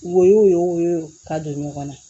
Wo y'o ye o ye ka don ɲɔgɔn na